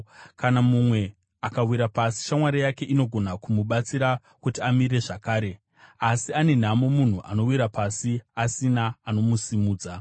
Kana mumwe akawira pasi, shamwari yake inogona kumubatsira kuti amire zvakare. Asi ane nhamo munhu anowira pasi, asina anomusimudza!